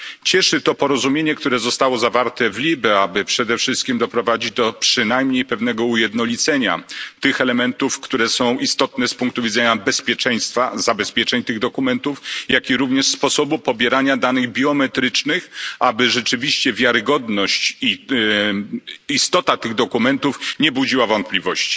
Cieszy to porozumienie, które zostało zawarte w LIBE, aby przede wszystkim doprowadzić do przynajmniej pewnego ujednolicenia tych elementów, które są istotne z punktu widzenia bezpieczeństwa, zabezpieczeń tych dokumentów, jak również sposobu pobierania danych biometrycznych, aby rzeczywiście wiarygodność i istota tych dokumentów nie budziła wątpliwości.